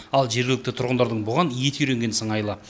ал жергілікті тұрғындардың бұған еті үйренген сыңайлы